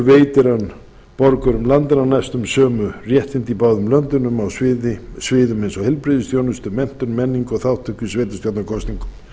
veitir hann borgurum landanna næstum sömu réttindi í báðum löndunum á sviði eins og heilbrigðisþjónustu menntun menningu og þátttöku í sveitarstjórnarkosningum